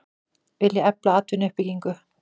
Vilja efla atvinnuuppbyggingu